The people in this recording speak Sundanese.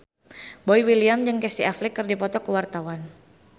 Boy William jeung Casey Affleck keur dipoto ku wartawan